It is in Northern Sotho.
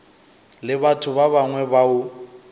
le batho ba bangwe bao